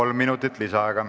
Kolm minutit lisaaega.